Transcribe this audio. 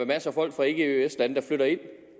masser af folk fra ikke eøs lande der flytter ind